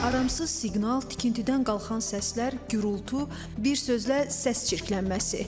Aramsız siqnal, tikintidən qalxan səslər, gurultu, bir sözlə səs çirklənməsi.